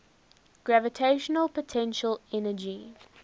gravitational potential energy